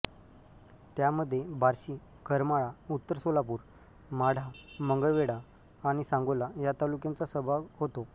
त्यामध्ये बार्शी करमाळा उत्तर सोलापूर माढा मंगळवेढा आणि सांगोला या तालुक्यांचा सहभाग होता